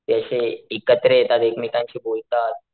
ते अशे एकत्र येतात एकमेकांशी बोलतात.